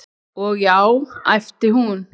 Ó, já, æpti hún.